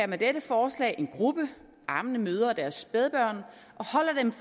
med dette forslag en gruppe ammende mødre og deres spædbørn